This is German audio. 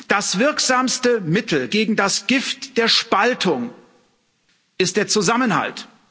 Das wirksamste Mittel gegen das Gift der Spaltung ist der Zusammenhalt.